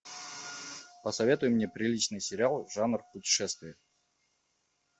посоветуй мне приличный сериал жанр путешествия